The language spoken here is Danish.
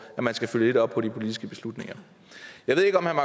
man skal følge lidt op på de politiske beslutninger jeg ved ikke om herre